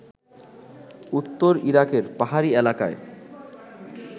উত্তর ইরাকের পাহাড়ি এলাকায়